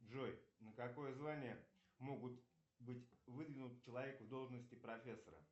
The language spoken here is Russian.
джой на какое звание могут быть выдвинут человек в должности профессора